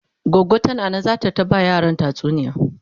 goggo tana Nan zata ta ba ma yaran tatsuniya